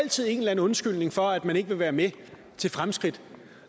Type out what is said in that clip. altid en eller anden undskyldning for at man ikke vil være med til fremskridt